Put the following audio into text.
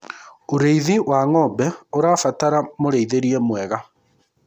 ũrĩithi wa ng'ombe ũrabatara mũrĩithirie mwega